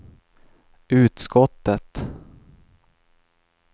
utskottet